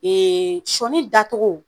sɔɔni dacogo